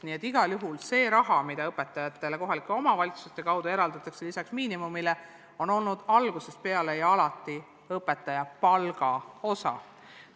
Nii et igal juhul see raha, mida õpetajatele kohalike omavalitsuste kaudu eraldatakse lisaks miinimumpalgale, on olnud algusest peale ja alati õpetaja palga osa.